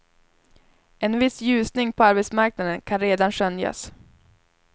En viss ljusning på arbetsmarknaden kan redan skönjas.